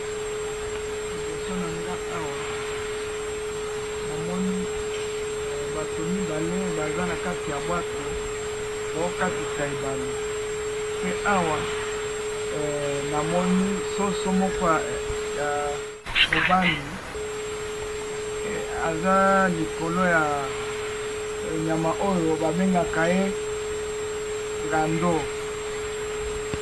Liboso na nga na moni batu mibale baza ko katisa na bwato, na moni na ba soso mibale ya mibali, na ngando pembeni